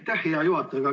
Aitäh, hea juhataja!